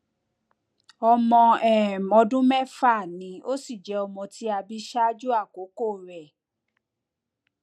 ọmọ um ọdún mẹfà ni ó sì jẹ ọmọ tí a bí ṣáájú àkókò rẹ